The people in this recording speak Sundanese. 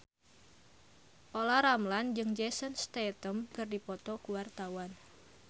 Olla Ramlan jeung Jason Statham keur dipoto ku wartawan